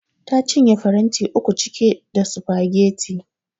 Ta cinye faranti uku cike da sufageti